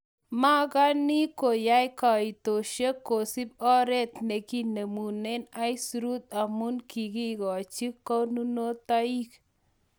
magani koyae kaontisieg kosib oret neginemunen aisuruut amun kigachin koonunootaiik